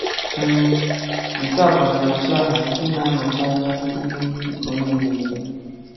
M (nke a bụ nnọchiaha nke na-anọchi anya ihe nke onye na-ekwu)